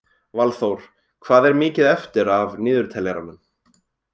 Valþór, hvað er mikið eftir af niðurteljaranum?